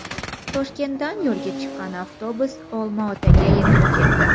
Toshkentdan yo‘lga chiqqan avtobus Olmaotaga yetib keldi.